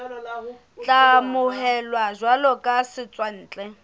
tla amohelwa jwalo ka setswantle